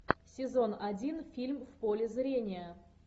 сезон один фильм в поле зрения